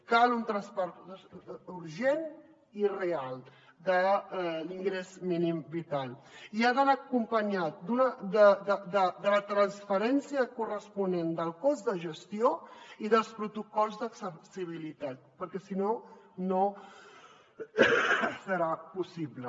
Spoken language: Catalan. cal un traspàs urgent i real de l’ingrés mínim vital i ha d’anar acompanyat de la transferència corresponent del cost de gestió i dels protocols d’accessibilitat perquè si no no serà possible